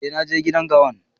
Eh, na je gidan gawan.